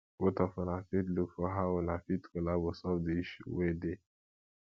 both of una fit look for how una fit collabo solve di issue wey dey